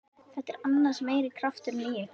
Það er annars meiri krafturinn í ykkur.